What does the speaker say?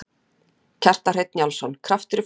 Kjartan Hreinn Njálsson: Kraftur í fólki?